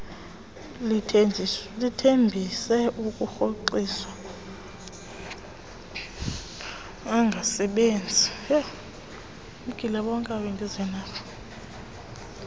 lithembise ukuwarhoxisa angasebenzi